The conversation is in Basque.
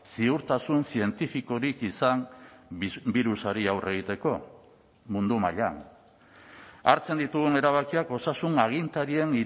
ziurtasun zientifikorik izan birusari aurre egiteko mundu mailan hartzen ditugun erabakiak osasun agintarien